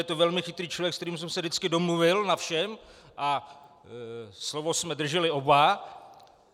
Je to velmi chytrý člověk, se kterým jsem se vždycky domluvil na všem, a slovo jsme drželi oba.